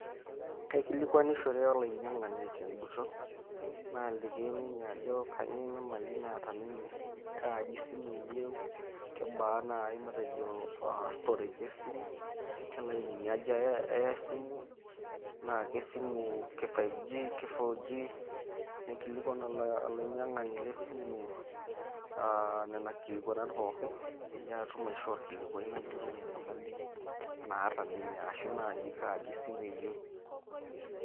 Kaikilikuanishore olainy'iang'ani tenkuton naaliki ninye ajo kainyioo enyamali naata ninye, kaaji simu eyieu, kebaa nai matejo aa storage esimu, ke ilainini aja eya esimu, naa kesimu ke five G,ke four G. Naikilikuan olainyaing'ani le esimu aa nena kilikuanat pookin peyie aatum aishoo orkilikuai nayiolou enyamali naata ninye ashu naaji kaaji simu eyieu.